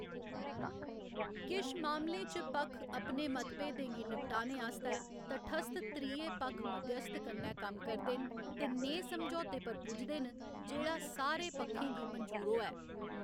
किश मामलें च पक्ख अपने मतभेदें गी निपटाने आस्तै तटस्थ त्रिये पक्ख मध्यस्थ कन्नै कम्म करदे न ते नेहे समझौते पर पुजदे न जेह्‌‌ड़ा सारे पक्खें गी मंजूर होऐ।